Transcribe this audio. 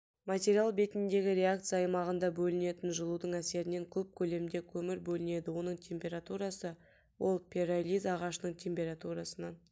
материал бетіндегі реакция аймағында бөлінетін жылудың әсерінен көп көлемде көмір бөлінеді оның температурасы ол перолиз ағашының температурасынан